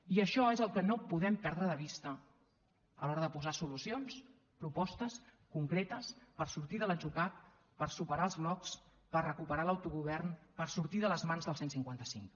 i això és el que no podem perdre de vista a l’hora de posar solucions propostes concretes per sortir de l’atzucac per superar els blocs per recuperar l’autogovern per sortir de les mans del cent i cinquanta cinc